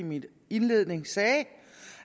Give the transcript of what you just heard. i min indledning sagde